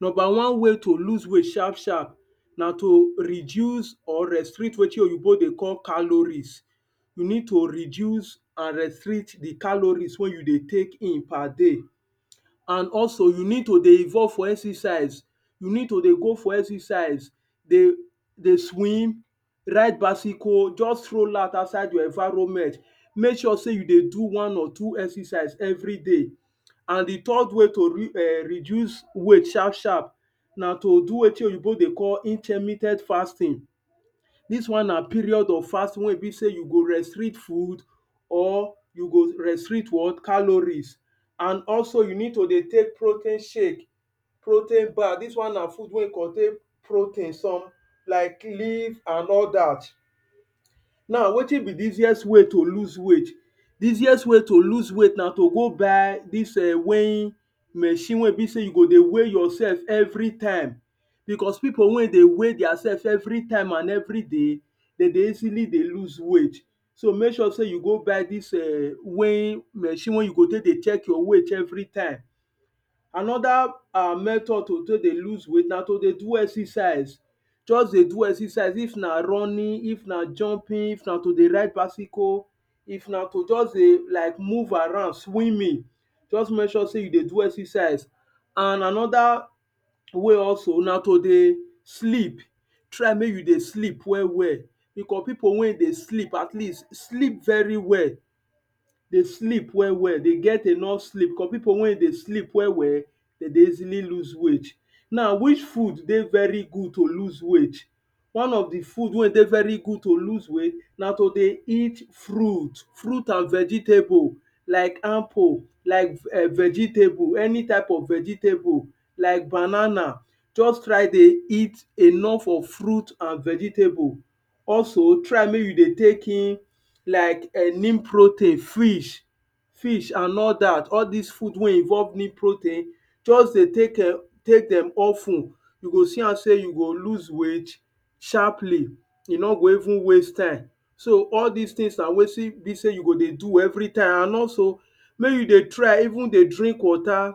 number way to lose weight sharp sharp na to reduce or restrict wetin oyibo dey call callorise yu need to reduce and restrict di callorise wey yu dey take in per day and also yu need to involve for exercise yu need to dey go for exercise dey dey swim ride bysicle just stroll out oustside di environment make sure sey you dey do one or two exercise evriday and di third way to re um reduce weigt sharp sharp na to do wetin oyibo dey call fasting dis one na period of fasting wey e bi sey yu go restrict food or yu go restrict what callorise and also yu need to dey take proteiin shake protein bag dis one na dey food wey e contain protein some like leaf and all dat naw wetin bi di easiest way to loose weight di easiest way to loose weight na to go buy dis eh weighing machine wey bi sey yu go dey weigh yorself evritime bicos pipol wey dey weigh theirself evritime and evriday dem dey easily dey loose weight so make sure sey yu go buy dis um weighing machine wey yu go take dey check weight evritime anoda um method to take dey loose weight na to dey do exercise just dey do exercise if na running if na jumping if na to dey ride bysicle if na to just dey um like move around swimming just make sure sey you dey do exercise and anoda way also na to dey sleep try make yu dey sleep well well bekor pipol wey dey sleep at least sleep veri well dey sleep well well dey get enough sleep ko pipol wey e dey sleep well well dem dey easily loose weight naw which food dey veri good to loose weige one of di food wey dey veri good to loose weight na to dey eat fruit fruit and vegetable like anpple like veg um vegetable like any type of vegetable like banana just try dey eat enough of fruit and vegetable also try make yu dey take in like um nean protein frish fish and all dat all dis food wey involve nean protein just dey take um take dem of ten yu go see am sey yu go loose weige sharpily yu no go even waste time so all dis tins na wetin wey bi sey yu go dey do am evri time and also make yu dey try even dey drink water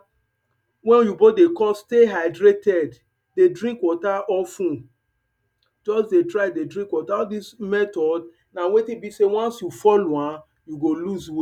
wey oyibo dey call stay hydrated dey drink water of ten just dey try dey drink water all dis method na wetin bi sey once yu follow am yu go loose weigh